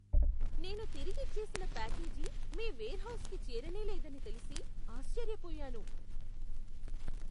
నేను తిరిగిచ్చేసిన ప్యాకేజీ మీ వెర్హౌస్కి చేరనేలేదని తెలిసి, ఆశ్చర్యపోయాను!